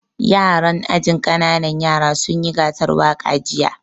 Yaran ajin ƙananan yara sun yi gasar waƙa jiya